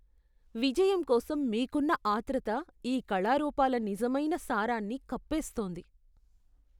విజయం కోసం మీకున్న ఆత్రుత ఈ కళారూపాల నిజమైన సారాన్ని కప్పేస్తోంది.